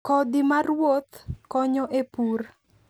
Kodhi ma ruoth konyo e pur.